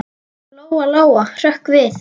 Lóa-Lóa hrökk við.